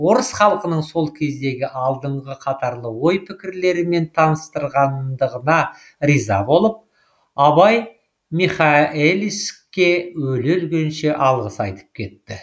орыс халқының сол кездегі алдыңғы қатарлы ой пікірлерімен таныстырғандығына риза болып абай михаэлиске өле өлгенше алғыс айтып кетті